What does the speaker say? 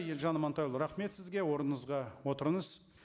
елжан амантайұлы рахмет сізге орныңызға отырыңыз